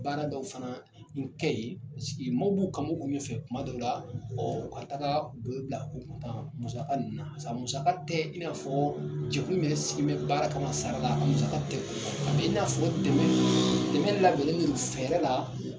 Baara dɔw fana bi kɛ yen mɔw b'u bɔ fan bɛɛ fɛ kuma dɔw la ɔɔ ka taga don bila musaka sa musaka tɛ i bi na fɔ jɛkulu min yɛrɛ sigi mɛn baara kama sara laamusaka tɛ o bɔ a b'i na fɔ dɛmɛ dɛmɛ laduli fɛrɛ la